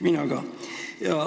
Mina ka!